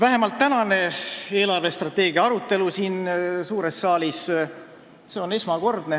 Selline eelarvestrateegia arutelu siin suures saalis nagu täna on esmakordne.